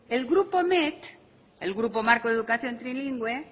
el grupo met el grupo marco educación trilingüe